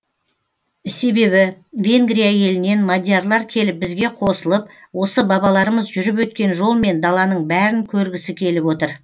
себебі венгрия елінен мадиярлар келіп бізге қосылып осы бабаларымыз жүріп өткен жолмен даланың бәрін көргісі келіп отыр